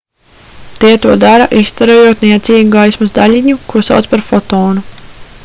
tie to dara izstarojot niecīgu gaismas daļiņu ko sauc par fotonu